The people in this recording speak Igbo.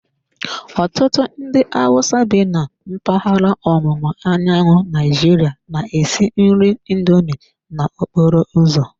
Ọtụtụ ndị Hausa bi na mpaghara ọwụwa anyanwụ Naijiria na-esi nri indomi n'okporo ụzọ.